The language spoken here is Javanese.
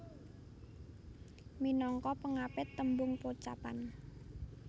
Minangka pangapit tembung pocapan